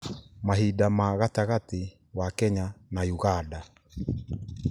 mahinda ma gatagatĩ wa kenya na uganda